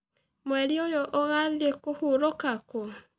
Mwerĩ ũyũ ũgathĩĩ kũhũrũka kũ?